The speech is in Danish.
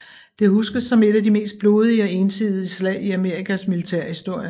Det huskes som et af de mest blodige og ensidige slag i Amerikas militærhistorie